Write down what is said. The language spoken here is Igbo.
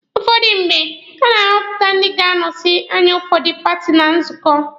Ụfọdụ mgbe, na-ahọpụta ndị ga-anọsị anya ụfọdụ paati na nzukọ.